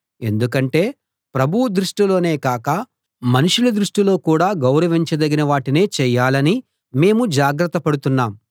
ఎందుకంటే ప్రభువు దృష్టిలోనే కాక మనుషుల దృష్టిలో కూడా గౌరవించదగిన వాటినే చేయాలని మేము జాగ్రత్త పడుతున్నాం